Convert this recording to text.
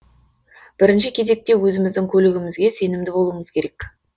бірінші кезекте өзіміздің көлігімізге сенімді болуымыз керек